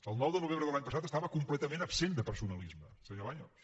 el nou de novembre de l’any passat estava completament absent de personalisme senyor baños